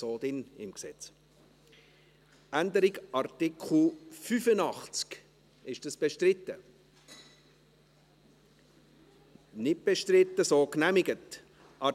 Sie haben diesen Antrag angenommen, mit 76 Ja- gegen 75 Nein-Stimmen, bei keiner Enthaltung.